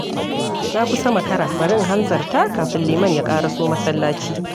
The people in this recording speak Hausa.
Na kusa makara, bari in hanzarta kafin liman ya ƙaraso masallaci.